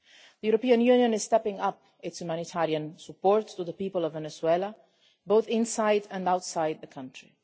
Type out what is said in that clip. The European Union is stepping up its humanitarian support for the people of Venezuela, both inside and outside the country.